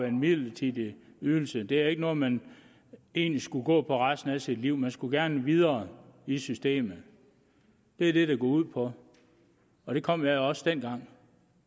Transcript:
en midlertidig ydelse det er ikke noget man egentlig skal gå på resten af sit liv man skulle gerne videre i systemet det er det det går ud på og det kom jeg også dengang